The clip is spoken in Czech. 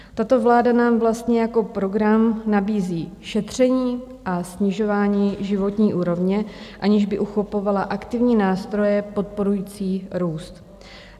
Tato vláda nám vlastně jako program nabízí šetření a snižování životní úrovně, aniž by uchopovala aktivní nástroje podporující růst.